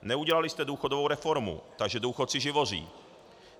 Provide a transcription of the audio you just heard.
Neudělali jste důchodovou reformu, takže důchodci živoří.